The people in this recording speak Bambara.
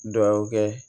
Dugawu kɛ